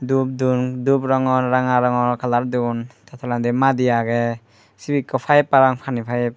dup don dup rongor ranga rongor kalar don tey tolendi madi agey sibeyikko payep parapang pani payep .